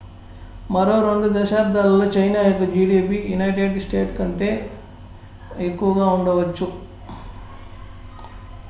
మరో 2 దశాబ్దాలలో చైనా యొక్క gdp యునైటెడ్ స్టేట్స్ కంటే ఎక్కువగా ఉండవచ్చు